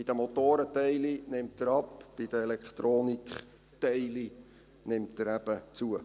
Bei den Motorenteilen nimmt er ab, bei den Elektronikteilen nimmt er eben zu.